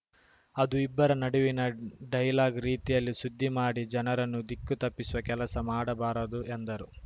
ಅದು ಇಬ್ಬರ ನಡುವಿನ ಡೈಲಾಗ್‌ ರೀತಿಯಲ್ಲಿ ಸುದ್ದಿ ಮಾಡಿ ಜನರನ್ನು ದಿಕ್ಕು ತಪ್ಪಿಸುವ ಕೆಲಸ ಮಾಡಬಾರದು ಎಂದರು